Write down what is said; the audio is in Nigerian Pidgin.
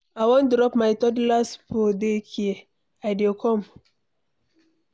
I wan drop my toddler for day care. I dey come.